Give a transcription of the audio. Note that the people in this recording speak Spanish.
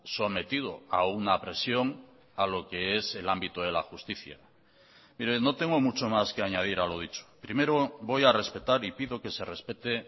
sometido a una presión a lo que es el ámbito de la justicia mire no tengo mucho más que añadir a lo dicho primero voy a respetar y pido que se respete